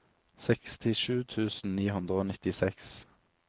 sekstisju tusen ni hundre og nittiseks